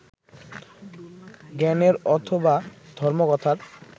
জ্ঞানের অথবা ধর্মকথার